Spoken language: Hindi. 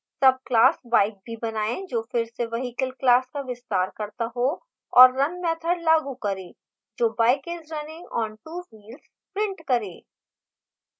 subclass bike भी बनाएँ जो फिर से vehicle class का विस्तार करता हो और run मैथड लागू करें जो bike is running on 2 wheels prints करे